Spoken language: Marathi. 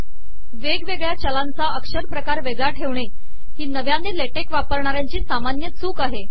वेगवेगळया चलाचा अकरपकार वेगळा ठेवणे ही चूक नवयाने ले टेक वापरणा याची सामानय चूक आहे